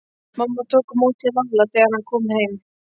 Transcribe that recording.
Mamma tók á móti Lalla þegar hann kom heim.